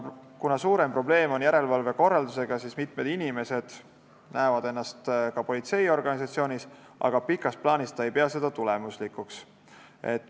Kuna suurem probleem on järelevalve korraldusega, siis mitmed inimesed näevad ennast töötamas ka politseiorganisatsioonis, aga pikas plaanis ei pea ta seda tulemuslikuks.